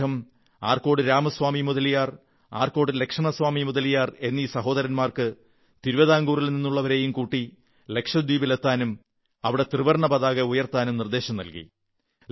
അദ്ദേഹം ആർക്കോട്ട് രാമസ്വാമി മുതലിയാർ ആർക്കോട്ട് ലക്ഷ്മണസ്വാമി മുതലിയാർ എന്നീ സഹോദരന്മാർക്ക് തിരുവിതാകുറിൽ നിന്നുള്ളവരെയും കൂട്ടി ലക്ഷദ്വീപിലെത്താനും അവിടെ ത്രിവർണ്ണ പതാക ഉയർത്താനും നിർദ്ദേശം നല്കി